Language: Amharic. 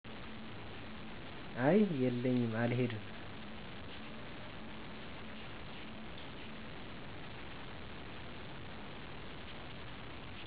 አይ የለኝም አልሄድም